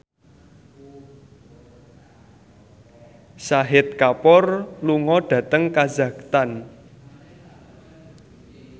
Shahid Kapoor lunga dhateng kazakhstan